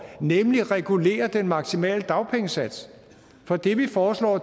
nemlig at regulere den maksimale dagpengesats for det vi foreslår